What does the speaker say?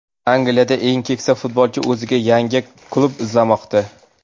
Angliyadagi eng keksa futbolchi o‘ziga yangi klub izlamoqda.